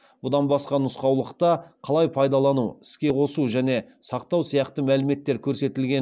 бұдан басқа нұсқаулықта қалай пайдалану іске қосу және сақтау сияқты мәліметтер көрсетілген